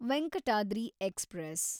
Venkatadri express